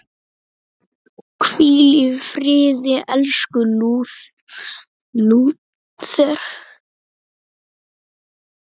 Hvíl í friði, elsku Lúther.